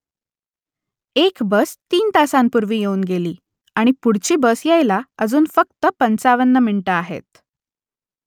एक बस तीन तासांपूर्वी येऊन गेली आणि पुढची बस यायला अजून फक्त पंचावन्न मिनिटं आहेत